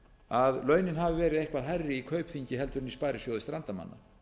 að launin hafi verið eitthvað hærri í kaupþingi en í sparisjóði strandamanna